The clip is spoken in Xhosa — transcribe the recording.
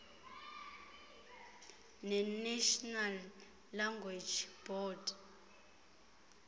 nenational language board